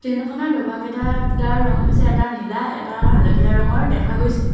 Train খনৰ ডবাকেটাৰ দুটা ৰং হৈছে এটা নীলা এটা হালধীয়া ৰঙৰ দেখা গৈছে।